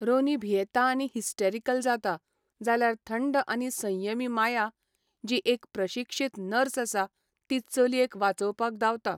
रोनी भियेता आनी हिस्टेरिकल जाता, जाल्यार थंड आनी संयमी माया, जी एक प्रशिक्षीत नर्स आसा, ती चलयेक वाचवपाक धांवता.